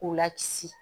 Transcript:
K'u lakisi